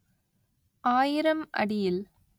ஆயிரம் அடியில்